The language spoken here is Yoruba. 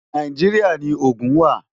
Nàìjíríà ni Ogun wà.